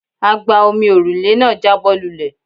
Agba-omi òrùlé náà jábọ́ lulẹ̀.